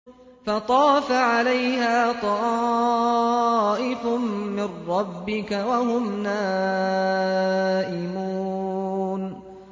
فَطَافَ عَلَيْهَا طَائِفٌ مِّن رَّبِّكَ وَهُمْ نَائِمُونَ